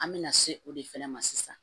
An bɛ na se o de fɛnɛ ma sisan